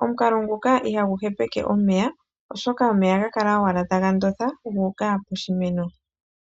Omukalo nguka ihagu hepeke omeya oshoka omeya ohaga kala owala taga ndonda gu uka poshimeno.